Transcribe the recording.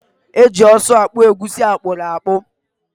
Eji ọsụ akpụ egusi akpụrụakpụ.